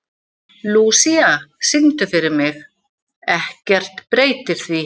Lúísa, syngdu fyrir mig „Ekkert breytir því“.